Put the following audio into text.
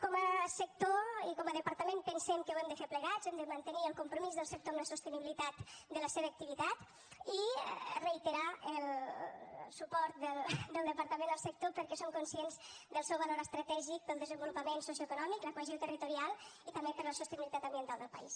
com a sector i com a departament pensem que ho hem de fer plegats hem de mantenir el compromís del sector amb la sostenibilitat de la seva activitat i reiterar el suport del departament al sector perquè som conscients del seu valor estratègic per al desenvolupament socioeconòmic la cohesió territorial i també per a la sostenibilitat ambiental del país